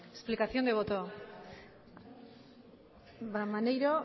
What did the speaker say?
explicación de voto maneiro